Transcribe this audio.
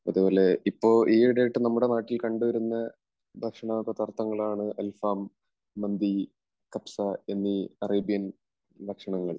അതുപോലെ ഇപ്പോൾ ഈയിടെയായിട്ട് നമ്മുടെ നാട്ടിൽ കണ്ടുവരുന്ന ഭക്ഷണപദാർത്ഥങ്ങളാണ് അൽഫാം, മന്തി, കബ്സ എന്നീ അറേബ്യൻ ഭക്ഷണങ്ങൾ.